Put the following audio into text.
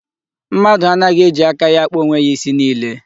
Mmadụ anaghị eji aka ya akpa onwe ya isi niile.